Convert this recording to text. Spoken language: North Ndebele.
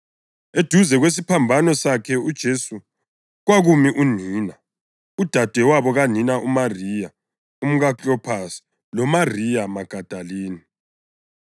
Eduze kwesiphambano sakhe uJesu kwakumi unina, udadewabo kanina, uMariya umkaKlopasi loMariya Magadalini.